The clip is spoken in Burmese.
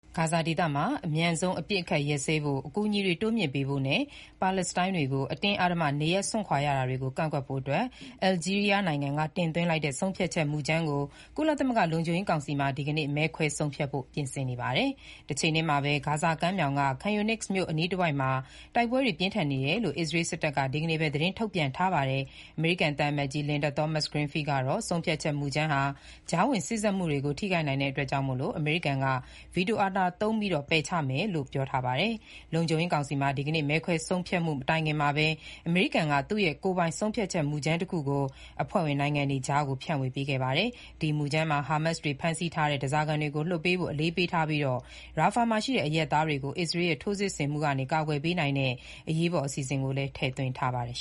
ဂါဇာဒေသမှာ အမြန်ဆုံးအပစ်အခတ် ရပ်စဲဖို့၊ အကူအညီတွေ တိုးမြှင့်ပေးဖို့နဲ့ ပါလက်စတိုင်းတွေ အတင်းအဓမ္မနေရပ်စွန့်ခွာနေရတာတွေကို ကန့်ကွက်ဖို့ အယ်လ်ဂျီးရီးယားနိုင်ငံက တင်သွင်းတဲ့ ဆုံးဖြတ်ချက်မှုကြမ်းကို ကုလသမဂ္ဂ လုံခြုံရေးကောင်စီမှာ ဒီကနေ့ မဲခွဲဆုံးဖြတ်ဖို့ ပြင်ဆင်နေပါတယ်။ တချိန်တည်းမှာပဲ ဂါဇာကမ်းမြှောင်က Khan Younis မြို့ အနီးတဝိုက်မှာ တိုက်ပွဲတွေ ပြင်းထန်နေတယ်လို့ အစ္စရေးစစ်တပ်က ဒီနေ့ပဲ သတင်းထုတ်ပြန်ပါတယ်။ အမေရိကန် သံအမတ်ကြီး Linda Thomas-Greenfield ကတော့ ဆုံးဖြတ်ချက်မူကြမ်းဟာ ကြားဝင်စေ့စပ်မှုတွေကို ထိခိုက်နိုင်တာကြောင့် အမေရိကန်က ဗီတိုအာဏာသုံး ပယ်ချမယ်လို့ ပြောထားပါတယ်။ လုံခြုံရေးကောင်စီမှာ ဒီကနေ့ မဲခွဲမဆုံးဖြတ်ခင်မှာပဲ အမေရိကန်က သူ့ရဲ့ ကိုယ်ပိုင် ဆုံးဖြတ်ချက်မူကြမ်းတခုကို အဖွဲ့ဝင်နိုင်ငံတွေကြား ဖြန့်ဝေခဲ့တာပါ။ ဒီမူကြမ်းမှာ ဟာမတ်စ်တွေ ဖမ်းဆီးထားတဲ့ ဓားစာခံတွေကို လွှတ်ပေးဖို့ အလေးပေးထားပြီး၊ Rafah မှာရှိတဲ့ အရပ်သားတွေကို အစ္စရေးရဲ့ ထိုးစစ်ဆင်မှုမှ ကာကွယ်ပေနိုင်တဲ့ အရေးပေါ်အစီအစဉ်လည်း ထည့်သွင်းထားပါတယ်